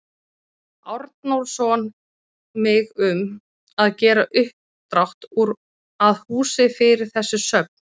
Arnórsson mig um, að gera uppdrátt að húsi fyrir þessi söfn.